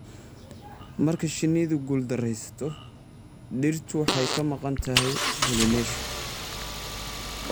Marka shinnidu guuldarraysato, dhirtu waxa ay ka maqan tahay pollination.